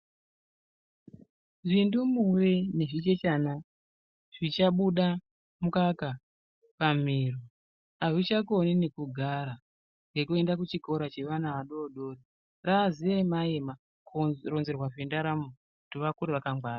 Zvindumure ne zvichechana zvichabuda mukaka pamiro hazvichakoni nekugara nekuenda kuchikora chevana vadodori rava ziema ema kuronzerwa kwendaramo kuti vakure vakangwara.